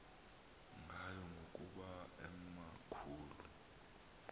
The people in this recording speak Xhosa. ngayo ngokuba emakhulu